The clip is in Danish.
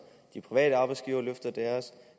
de private arbejdsgivere løfter deres